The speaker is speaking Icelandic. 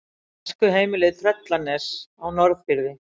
Æskuheimilið Tröllanes á Norðfirði.